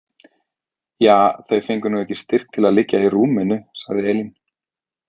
Ja, þau fengu nú ekki styrk til að liggja í rúminu, sagði Elín.